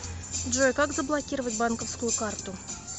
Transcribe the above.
джой как заблокировать банковскую карту